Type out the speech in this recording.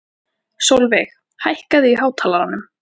Sólveig, hækkaðu í hátalaranum.